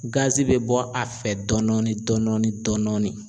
Gazi bɛ bɔ a fɛ dɔɔnɔnin dɔɔnɔnin dɔɔnɔnin